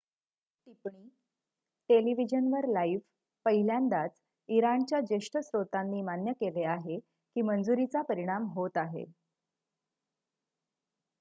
टिप्पणी टेलिव्हिजनवर लाइव्ह पहिल्यांदाच इराणच्या ज्येष्ठ स्त्रोतांनी मान्य केले आहे की मंजुरीचा परिणाम होत आहे